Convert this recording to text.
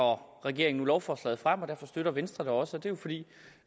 regeringen nu lovforslaget frem og derfor støtter venstre det også det er jo fordi